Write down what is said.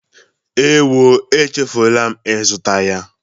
Ewo, echefuru m ịzụta ya.